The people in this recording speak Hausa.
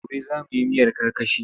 Gobe za mu yi miyar karkashi.